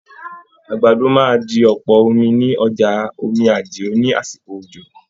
Àgbàdo máa di ọpọ ní ọjà Omí Àdìó ní àsìkò òjò.